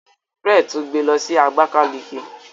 Fred tún gbé ló sì Abakaliki.